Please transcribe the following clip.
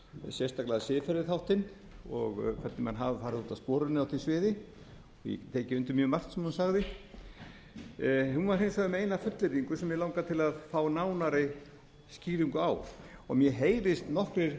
sérstaklega siðferðisþáttinn og þar sem menn hafa farið út af sporinu á því sviði og ég get tekið undir mjög margt sem hún sagði hún var hins vegar með eina fullyrðingu sem mig langar til að fá nánari skýringu á og mér heyrist nokkrir